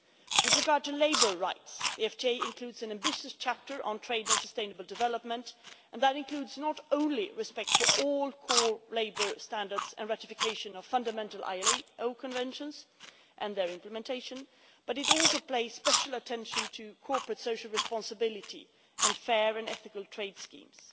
With regard to labour rights, the FTA includes an ambitious chapter on trade and sustainable development, and that includes not only respect for all core labour standards and ratification of fundamental ILO Conventions and their implementation, but it also pays special attention to corporate social responsibility and fair and ethical trade schemes.